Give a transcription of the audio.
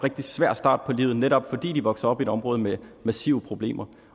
rigtig svær start på livet netop fordi de vokser op i et område med massive problemer